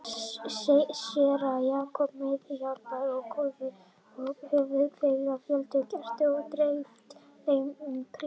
Séra Jakob, meðhjálparinn og kórfélagarnir höfðu kveikt á fjölda kerta og dreift þeim um kirkjuna.